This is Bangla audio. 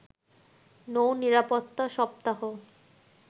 নৌ-নিরাপত্তা সপ্তাহ